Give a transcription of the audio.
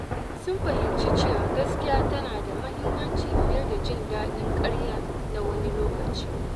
Sun fahimci cewa gaskiya tana da muhimmanci fiye da jin daɗin karya na wani lokaci.